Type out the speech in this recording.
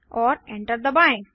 और enter दबाएँ